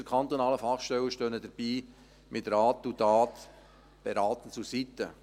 Unsere kantonalen Fachstellen stehen ihnen dabei mit Rat und Tat beratend zur Seite.